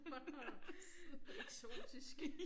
Bornholm. Eksotisk